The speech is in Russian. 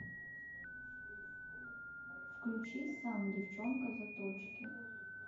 включи сам девчонка заточки